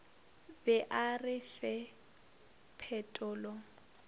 be a re fe phetolo